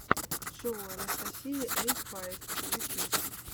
шоу анастасии эй файв ютьюб